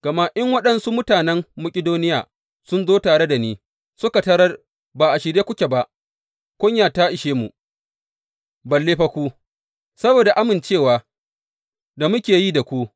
Gama in waɗansu mutanen Makidoniya sun zo tare da ni, suka tarar ba a shirye kuke ba, kunya ta ishe mu, balle fa ku, saboda amincewa da muke yi da ku.